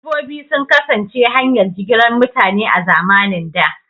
Dabbobi sun kasance hanyar jigilar mutane a zamanin da.